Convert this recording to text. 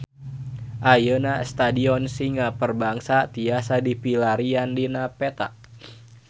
Ayeuna Stadion Singa Perbangsa tiasa dipilarian dina peta